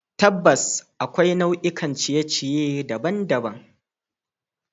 Tabbas, akwai nau'ikan ciye-ciye daban-daban.